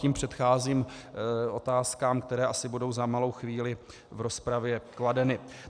Tím předcházím otázkám, které asi budou za malou chvíli v rozpravě kladeny.